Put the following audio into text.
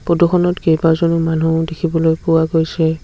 Photo খনত কেইবাজনো মানুহ দেখিবলৈ পোৱা গৈছে।